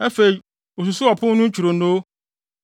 Afei osusuw ɔpon no ntwironoo;